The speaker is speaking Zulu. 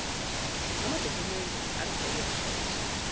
amadokhumende analeyo nhloso